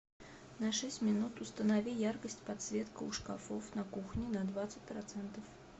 на шесть минут установи яркость подсветка у шкафов на кухне на двадцать процентов